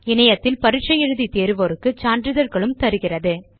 இணையத்தில் பரிட்சை எழுதி தேர்வோருக்கு சான்றிதழ்களும் தருகிறது